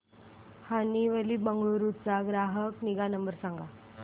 Honeywell Bengaluru चा ग्राहक निगा नंबर सांगा